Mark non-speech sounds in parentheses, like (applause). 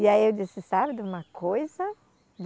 E aí eu disse, sabe de uma coisa? (unintelligible)